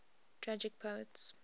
tragic poets